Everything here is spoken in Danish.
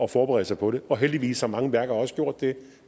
forberede sig på det og heldigvis har mange værker også gjort det